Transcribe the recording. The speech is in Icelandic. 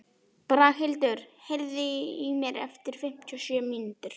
Braghildur, heyrðu í mér eftir fimmtíu og sjö mínútur.